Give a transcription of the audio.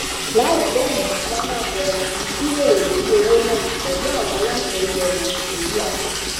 láìpẹ yìí la máa bẹrẹ sí í jíròrò lórí owó náà pẹlú àwọn aláṣẹ ilẹ nàìjíríà